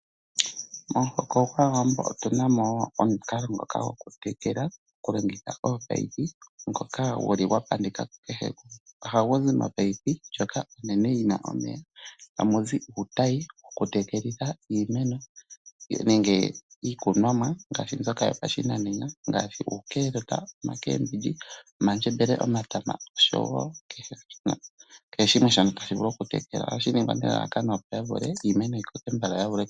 Momuhoko gwAawambo otu na mo omukalo ngoka gwokutekela okulongitha koopayipi ngoka gu li gwa pandika kukehe gumwe. Ohagu zi mopayipi ndjoka onene yi na omeya, tamu zi uutayi wokutekelitha iimeno nenge iikunomwa ngaashi mbyoka yopashinanena ngaashi uukaalota, omakeembilyi, omandjembele, omatama nosho wo kehe shimwe shono tashi vulu oku tekelwa, ohashi ningwa nelalakano opo iimeno yi koke mbala opo ya vule